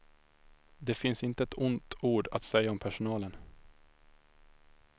Det finns inte ett ont ord att säga om personalen.